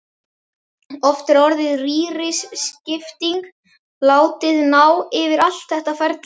Oft er orðið rýriskipting látið ná yfir allt þetta ferli.